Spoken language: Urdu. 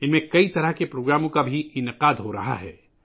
ان میں کئی طرح کے پروگرام بھی منعقد کئے جا رہے ہیں